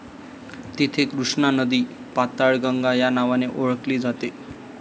तेथे कृष्णा नदी पाताळगंगा या नावाने ओळखली जाते.